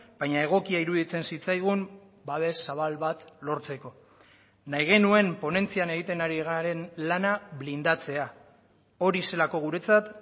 baina egokia iruditzen zitzaigun babes zabal bat lortzeko nahi genuen ponentzian egiten ari garen lana blindatzea hori zelako guretzat